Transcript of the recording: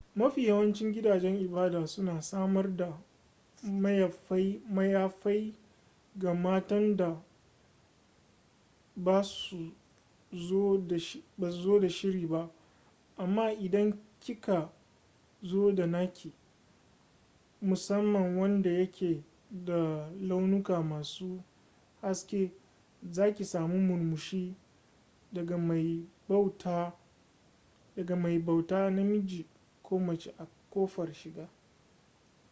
mafi yawancin gidajen ibada suna samar da mayafai ga matan da ba su zo da shiri ba amma idan ki ka zo da naki musamman wanda yake da launuka masu haske za ki sami murmushi daga mai bauta namiji ko mace a ƙofar shiga